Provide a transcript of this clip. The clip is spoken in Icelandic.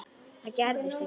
Það gerðist ekki.